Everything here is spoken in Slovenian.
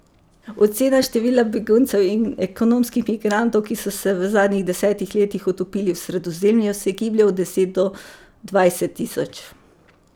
Ocena števila beguncev in ekonomskih migrantov, ki so se v zadnjih desetih letih utopili v Sredozemlju, se giblje od deset do dvajset tisoč.